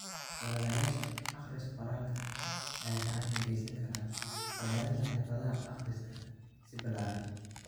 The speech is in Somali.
Ololayaasha akhris-qoraalka ayaa gacan ka geysan kara horumarinta xirfadaha akhriska si ballaaran.